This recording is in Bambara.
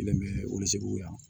yan